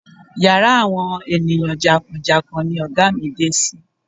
Yàrá àwọn ènìyàn jàǹkàn jàǹkàn ni ọ̀gá mi dé sí.